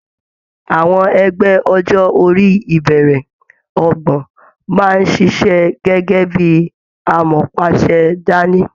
Àwọn ẹgbẹ ọjọ orí ibẹrẹ ọgbọ́n máa ṣiṣẹ gẹgẹ bíi amọ̀páàṣẹ dání.